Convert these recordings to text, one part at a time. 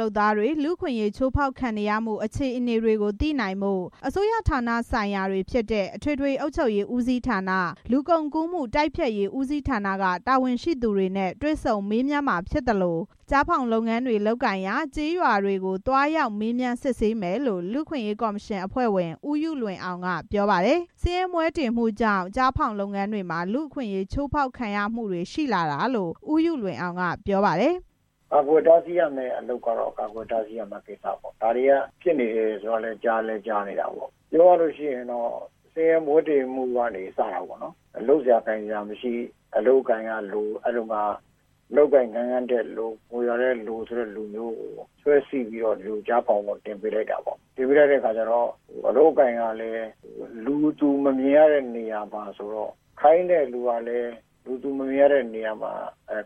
လုပ်သားတွေ လူ့အခွင့်ရေးချိုးဖောက်ခံရမှုအခြေအနေတွေ သိနိုင်ဖို့ အစိုးရဌာနဆိုင်ရာတွေဖြစ်တဲ့ အထွေထွေအုပ်ချုပ်ရေးဦးစီးဌာန၊ လူကုန်ကူးမှုတိုက်ဖျက်ရေးဦးစီးဌာနက တာဝန်ရှိသူတွေနဲ့ တွေ့ဆုံမေးမြန်းမှာဖြစ်သလို ကျားဖောင်လုပ်ငန်းလုပ်ကိုင်ရာ ကျေးရွာတွေကို သွားရောက် မေးမြန်းစစ်ဆေးမယ်လို့ လူ့အခွင့်ရေးကော်မရှင်၊ အဖွဲ့ဝင် ဦးယုလွင်အောင်က ပြောပါတယ်။ ဆင်းရဲမွဲတေမှုတွေကြောင့် ကျားဖောင်ငါးဖမ်းလုပ်ငန်းတွေမှာ လူ့အခွင့်အရေးချိုးဖောက်ခံရမှုတွေ ရှိလာတာလို့ ဦးယုလွင်အောင်က ပြောပါတယ်။ ကာကွယ်တားဆီးရမယ့် အလုပ်ကတော့ ကာကွယ်တာဆီးရမယ့်အလုပ်ပေါ့။ ဒါတွေက ဖြစ်နေတယ်ဆိုတာ ကြားလည်းကြားတယ်။ ပြောရလို့ရှိရင် ဆင်းရဲမွဲတေမှုကနေ စတာပေါ့နော်။ လုပ်စရာ ကိုင်စရာမရှိ။ အလုပ်အကိုင်ကလို၊ ငွေကလည်းလို ဆိုတဲ့လူကို ဆွဲစိပြီး ကျားဖောင်ပေါ် တင်ပေးလိုက်တာပေါ့။ တင်ပေးလိုက်တဲ့အခါကျတော့ အလုပ်အကိုင်ကလည်း လူသူမမြင်ရတဲ့နေရာမှာဆိုတော့ ခိုင်းတဲ့သူကလည်း လူသူမမြင်ရတဲ့နေရာမှာ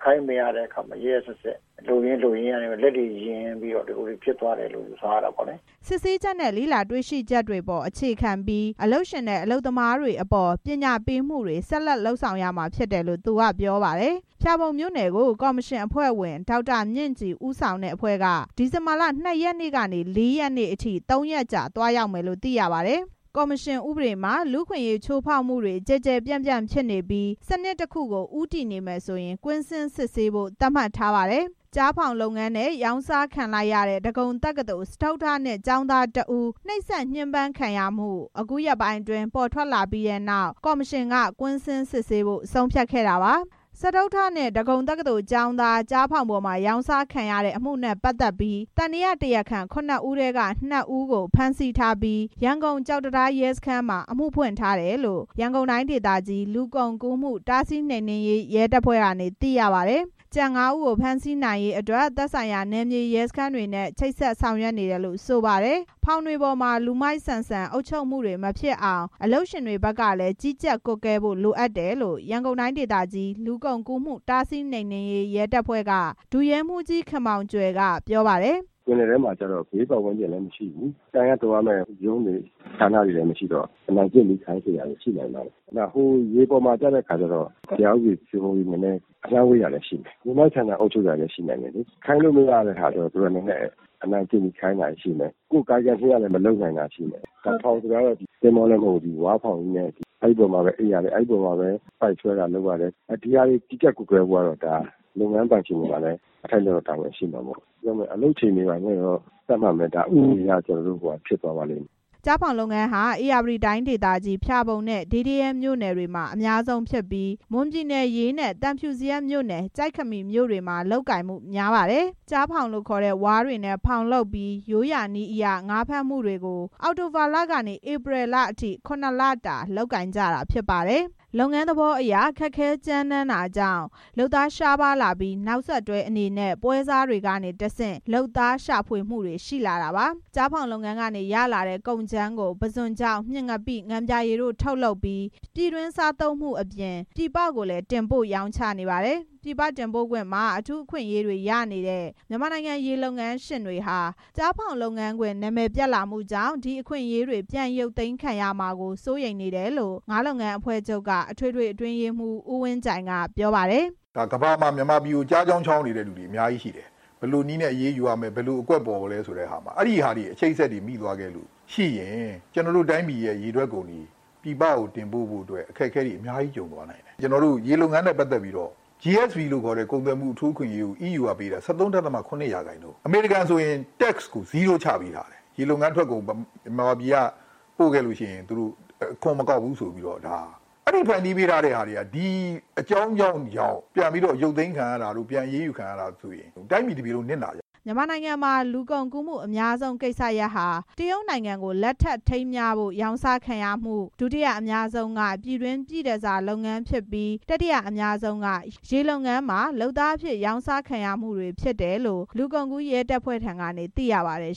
ခိုင်းမရတဲ့အခါမှာ ရက်ရက်စက်စက် လုပ်ရင်း လုပ်ရင်းကနေ လက်တွေ ယဉ်ပြီးတော့ ဖြစ်သွားတယ်လို့ ယူဆရတာပေါ့။” စစ်ဆေးချက်နဲ့ လေ့လာတွေရှိချက်တွေပေါ် အခြေခံပြီး အလုပ်ရှင်နဲ့ အလုပ်သမားတွေအပေါ် ပညာပေးမှုတွေ ဆက်လက် လုပ်ဆောင်ရမှာဖြစ်တယ်လို့ သူကပြောပါတယ်။ ဖျာပုံမြို့နယ်ကို ကော်မရှင်အဖွဲ့ဝင် ဒေါက်တာ မြင့်ကြည် ဦးဆောင်တဲ့ အဖွဲ့က ဒီဇင်ဘာလ ၂ ရက်နေ့ကနေ ၄ ရက်နေ့အထိ ၃ ရက်ကြာ သွားရောက်မယ်လို့ သိရပါတယ်။ ကော်မရှင်ဥပဒေမှာ လူ့အခွင့်အရေးချိုးဖောက်မှုတွေ ကျယ်ကျယ်ပြန့်ပြန့်ဖြစ်နေပြီး စနစ်တစ်ခုအဖြစ်ကို ဦးတည်နေမယ်ဆိုရင် ကွင်းဆင်းစစ်ဆေးရမယ်လို့ သတ်မှတ်ထားပါတယ်။ ကျားဖောင်လုပ်ငန်းထဲ ရောင်းစားခံလိုက်ရတဲ့ ဒဂုံတက္ကသိုလ်၊ စတုတ္ထနှစ် ကျောင်းသားတစ်ဦး နှိပ်စက် ညှဥ်းပန်းခံရမှု အခုရက်ပိုင်းအတွင်း ပေါ်ထွက်လာခဲ့ပြီးနောက် ကော်မရှင်က ကွင်းဆင်းစစ်ဆေးဖို့ ဆုံးဖြတ်ခဲ့တာပါ။ စတုတ္ထနှစ် ဒဂုံတက္ကသိုလ်ကျောင်းသား ကျားဖောင်ပေါ်မှာ ရောင်းစားခံရတဲ့အမှုနဲ့ ပတ်သက်ပြီး သံသယတရားခံ ခုနှစ်ဦးထဲက နှစ်ဦးကို ဖမ်းဆီးထားပြီး ရန်ကုန်၊ ကျောက်တံတားရဲ စခန်းမှာ အမှုဖွင့်ထားတယ်လို့ ရန်ကုန်တိုင်းဒေသကြီး လူကုန်ကူးမှု တားဆီးနှိမ်နင်းရေးရဲတပ်ဖွဲ့ထံက သိရပါတယ်။ ကျန် ငါးဦးကို ဖမ်းဆီးနိုင်ရေး သက်ဆိုင်ရာ နယ်မြေရဲစခန်းတွေနဲ့ ချိတ်ဆက်ဆောင်ရွက်နေတယ်လို့ ဆိုပါတယ်။ ဖောင်တွေပေါ်မှာ လူမိုက်ဆန်ဆန် အုပ်ချုပ်မှုတွေ မဖြစ်အောင် အလုပ်ရှင်တွေကလည်း ကြီးကြပ်ကွပ်ကဲဖို့ လိုအပ်တယ်လို့ ရန်ကုန်တိုင်းဒေသကြီး လူကုန်ကူးမှု တားဆီးနှိမ်နင်းရေး ရဲတပ်ဖွဲ့က ဒုရဲမှူးကြီး ခင်မောင်ကြွယ်က ပြောပါတယ်။ ပင်လယ်ထဲမှာ ဘေးပတ်ဝန်းကျင်လည်းမရှိ၊ တိုင်ရတောရမယ့် ရုံးတွေ ဌာနဆိုင်ရာတွေလည်း မရှိတဲ့ အခါကျတော့ အနိုင်ကျင့်ပြီး ခိုင်းစေတာတွေ ရှိနိုင်တာပေါ့။ ရေပေါ်မှာကျတော့ တရားဥပဒေစိုးမိုးမှု နည်းနည်း အလှမ်းဝေးတာလည်း ရှိနိုင်တယ်။ လူမိုက်ဆန်ဆန် အုပ်ချုပ်တာတွေလည်း ရှိနိုင်တယ်။ ခိုင်းလိုမရတဲ့ဟာတွေကျတော့ နည်းနည်း အနိုင်ကျင့်ပြီး ခိုင်းတာရှိမယ်။ ကာယကံရှင်ကလည်း မလုပ်နိုင်တာရှိမယ်။ ဖောင်ဆိုတာက သင်္ဘောလည်းမဟုတ်ဘူး။ ဝါးဖောင်ကြီးနဲ့ အဲပေါ်မှာပဲ အိပ်ရတယ်။ အဲပေါ်မှာပဲ ပိုက်ဆွဲတာလုပ်ရတယ်။ ဒီဟာတွေ ကြီးကြပ်ကွပ်ကဲဖို့ကတော့ ဒါ လုပ်ငန်းပိုင်ရှင်တွေမှာလည်း အထိုက်အလျှောက်တော့ တာဝန်ရှိမှာပေါ့။ အလုပ်ချိန်တွေဘာတွေ သတ်မှတ်မယ်။ ဒါတွေ ဥပဒေအရ ဖြစ်သွားပါလိမ့်မယ်။” ကျားဖောင်လုပ်ငန်းဟာ ဧရာဝတီတိုင်းဒေသကြီး ဖျာပုံနဲ့ ဒေးဒရဲမြို့နယ်တွေမှာ အများဆုံးဖြစ်ပြီး မွန်ပြည်နယ်၊ ရေးနဲ့ သံဖြူဇရပ်မြို့နယ် ကျိက်ခမီမြို့တွေမှာ လုပ်ကိုင်မှု အများဆုံးဖြစ်ပါတယ်။ ကျားဖောင်လို့ခေါ်တဲ့ ဝါးတွေနဲ့ဖောင်လုပ်ပြီး ရိုးရာနည်းအရ ငါးဖမ်းမှုတွေကို အောက်တိုဘာလကနေ ဧပြီလအထိ ခုနှစ်လတာ လုပ်ကြတာဖြစ်ပါတယ်။ လုပ်ငန်းသဘောအရ ခက်ခဲကြမ်းတမ်းတာကြောင့် လုပ်သား ရှားပါးလာပြီး နောက်ဆက်တွဲအနေနဲ့ ပွဲစားတွေကတဆင့် လုပ်သားရှာဖွေလာရတာပါ။ ကျားဖောင်လုပ်ငန်းက ရလာတဲ့ ကုန်ကြမ်းကို ပုဇွန်ခြောက်၊ မျှင်ငပိ၊ ငံပြာရည်တို့ ထုတ်လုပ်ပြီး ပြည်တွင်း စားသုံးမှုအပြင် ပြည်ပကိုလည်း တင်ပို့ပါတယ်။ ပြည်ပတင်ပို့ခွင့်မှာ အထူးအခွင့်အရေးတွေ ရနေတဲ့ မြန်မာနိုင်ငံ ရေလုပ်ငန်းရှင်တွေဟာ ကျားဖောင်လုပ်ငန်းခွင် နာမည်ပျက်လာမှုကြောင့် အခွင့်အရေးတွေ ပြန်ရုပ်သိမ်းခံရမှာကို စိုးရိမ်တယ်လို့ ငါးလုပ်ငန်းအဖွဲ့ချုပ်က အထွေထွေ အတွင်းရေးမှူး ဦးဝင်းကြိုင် ကပြောပါတယ်။ ကမ္ဘာမှာ မြန်မာပြည်ကို ကျားချောင်း ချောင်းနေတဲ့သူတွေ အများကြီးရှိတယ်။ ဘယ်လိုနည်းနဲ့ အရေးယူရမယ် ဘယ်လိုအကွက်ပေါ်ရမယ်ဆိုတာ အဲဒီလိုအချိတ်အဆက်တွေ မိသွားလို့ ရှိရင် ကျနော်တို့ တိုင်းပြည်ရဲ့ ရေထွက်ကုန်တွေ ပြည်ပကို တင်ပို့ဖို့အတွက် အခက်အခဲတွေ အများကြီး ပေါ်သွားလိမ့်မယ်။ ကျနော်တို့ ရေထွက်ကုန်နဲ့ ပတ်သက်ပြီးတော့ GSP လို့ခေါ်တဲ့ အထူးအခွင့်အရေးကို EU ကပေးတာ ၁၃.၇ ရာခိုင်နှုန်း၊ အမေရိကန်ဆို Tax ကို ဇီးရိုးချပေးထားတယ်။ ရေလုပ်ငန်းထွက်ကုန် မြန်မာပြည်ကပို့ခဲ့ရင် အခွန်မကောက်ဘူးဆိုပြီးတော့ အဲ့ဒီအကြောင်းကြောင့် ဒီဖန်တီးပေးထားတာတွေ ပြန်ရုပ်သိမ်းခံရရင် တိုင်းပြည်တစ်ခုလုံး နစ်နာကြမယ်။” မြန်မာနိုင်ငံမှာ လူကုန်ကူးမှုအများဆုံးဖြစ်တဲ့ကိစ္စရပ်ဟာ တရုတ်နိုင်ငံကို လက်ထပ်ထိမ်းမြားဖို့ ရောင်းစားခံရမှု၊ ဒုတိယအများဆုံးက ပြည်တွင်းပြည့်တန်ဆာလုပ်ငန်းဖြစ်ပြီး၊ တတိယအများဆုံးက ရေလုပ်ငန်းတွေမှာ လုပ်သားအဖြစ် ရောင်းစားခံရမှုတွေဖြစ်တယ်လို့ လူကုန်ကူး ရဲတပ်ဖွဲ့ထံက သိရပါတယ်